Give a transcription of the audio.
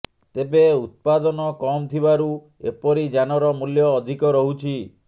ତେବେ ଉତ୍ପାଦନ କମ୍ ଥିବାରୁ ଏପରି ଯାନର ମୂଲ୍ୟ ଅଧିକ ରହୁଛି